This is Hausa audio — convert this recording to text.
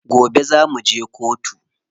Gobe za muje kotu.